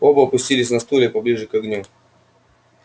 оба опустились на стулья поближе к огню